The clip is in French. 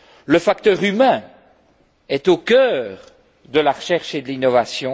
Le facteur humain est au cœur de la recherche et de l'innovation.